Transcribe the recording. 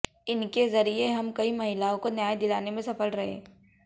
इनके जरिये हम कई महिलाओं को न्याय दिलाने में सफल रहे